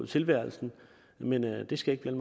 tilværelsen men det det skal